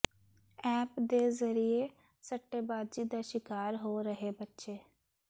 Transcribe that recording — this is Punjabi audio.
ਐਪ ਦੇ ਜ਼ਰੀਏ ਸੱਟੇਬਾਜ਼ੀ ਦਾ ਸ਼ਿਕਾਰ ਹੋ ਰਹੇ ਬੱਚੇ